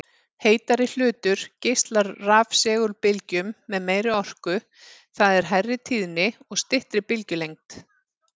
Heitari hlutur geislar rafsegulbylgjum með meiri orku, það er hærri tíðni og styttri bylgjulengd.